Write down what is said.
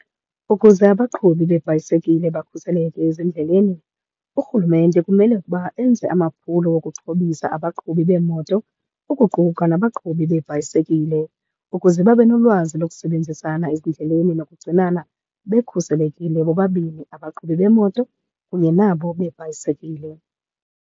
Ukuze abaqhubi beebhayisekile bakhuseleke ezindleleni, urhulumente kumele ukuba enze amaphulo okuxhobisa abaqhubi beemoto, ukuquka nabaqhubi beebhayisekile ukuze babe nolwazi lokusebenzisana ezindleleni nokugcinana bekhuselekile bobabini, abaqhubi bemoto kunye nabo beebhayisekile.